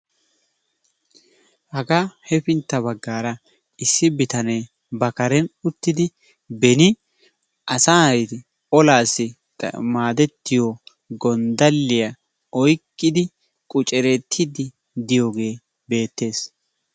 Hagaa hefintta baggaara issi bitannee ba karen uttidi beni asay olaassi maadettiyo gondaliya poyqqidi qucceretiidi diyoogee beetes.